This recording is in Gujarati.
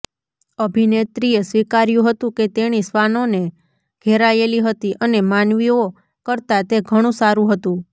અભિનેત્રીએ સ્વીકાર્યું હતું કે તેણી શ્વાનોને ઘેરાયેલી હતી અને માનવીઓ કરતાં તે ઘણું સારું હતું